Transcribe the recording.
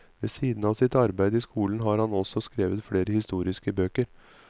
Ved siden av sitt arbeid i skolen har han også skrevet flere historiske bøker.